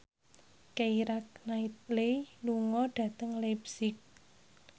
Keira Knightley lunga dhateng leipzig